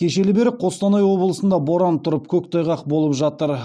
кешелі бері қостанай облысында боран тұрып көктайғақ болып жатыр